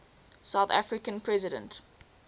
south african president